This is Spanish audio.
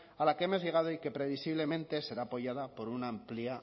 a la que hemos llegado y que previsiblemente será apoyada por una amplia